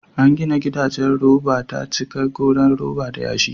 An gina gidajen roba ta cika goran roba da yashi.